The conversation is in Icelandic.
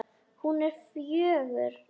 Hún er fjögur.